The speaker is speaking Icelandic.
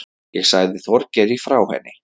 Ég sagði Þorgeiri frá henni.